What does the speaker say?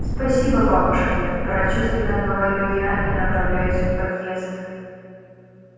спасибо бабушки прочувственно говорю я и направляюсь в подъезд